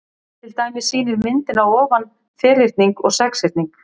Til dæmis sýnir myndin að ofan ferhyrning og sexhyrning.